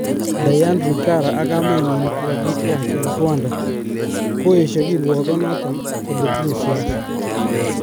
Diane Rwigara ak kamenyin kokakitiach eng Rwanda koyesho kirwogon noton kole tinye siasa.